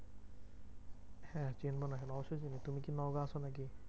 হ্যাঁ চেনো নাকি? তুমি কি নওগাঁ আছো নাকি?